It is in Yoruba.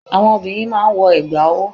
àwọn obìnrin máà ń wọ ẹ̀gbà ọwọ́.